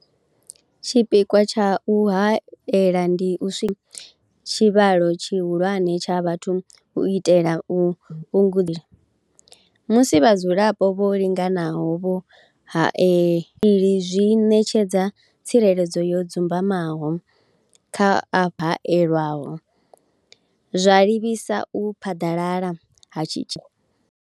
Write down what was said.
Tshipikwa tsha u haela ndi u tshivhalo tshihulwane tsha vhathu u itela u musi vhadzulapo vho linganaho vho hae zwi ṋetshedza tsireledzo yo dzumbamaho kha haelwaho, zwa livhisa u phaḓalala ha tshi.